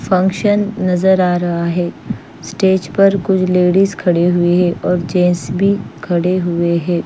Function नज़र आ रहा है स्टेज पर कुछ लेडीज खड़ी हुई है ओए जेन्स भी खड़े हुए है।